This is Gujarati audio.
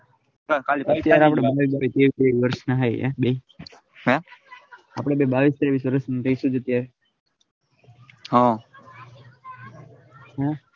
તેર તેર વરસના હે બે આપડે બે બાવીસ તેવીશ વરસ હમ હમ